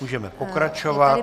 Můžeme pokračovat.